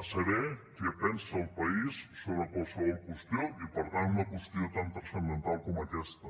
a saber què pensa el país sobre qualsevol qüestió i per tant una qüestió tan transcendental com aquesta